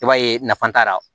I b'a ye nafa t'a la